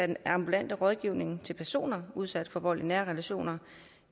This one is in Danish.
den ambulante rådgivning til personer udsat for vold i nære relationer